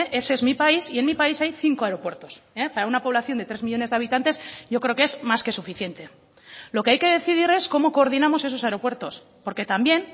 ese es mi país y en mi país hay cinco aeropuertos para una población de tres millónes de habitantes yo creo que es más que suficiente lo que hay que decidir es cómo coordinamos esos aeropuertos porque también